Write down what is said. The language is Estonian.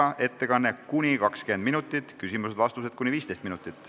Tema ettekanne on kuni 20 minutit, küsimused ja vastused kuni 15 minutit.